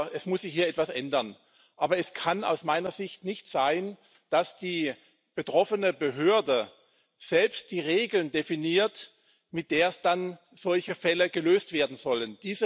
es muss sich hier etwas ändern. Aber es kann aus meiner Sicht nicht sein, dass die betroffene Behörde selbst die Regeln definiert, mit der dann solche Fälle gelöst werden sollen.